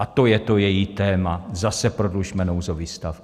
A to je to její téma: Zase prodlužme nouzový stav!